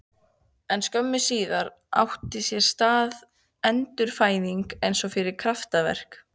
En skömmu síðar átti sér stað endurfæðing einsog fyrir kraftaverk.